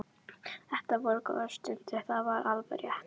Þetta voru góðar stundir, það var alveg rétt.